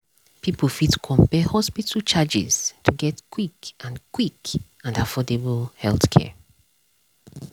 people fit compare hospital charges to get quick and quick and affordable healthcare.